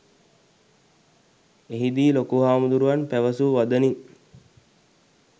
එහිදී ලොකු හාමුදුරුවන් පැවසූ වදනින්